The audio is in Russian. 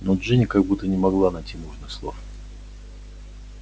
но джинни как будто не могла найти нужных слов